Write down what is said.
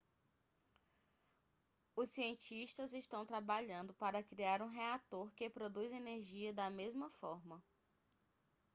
os cientistas estão trabalhando para criar um reator que produz energia da mesma forma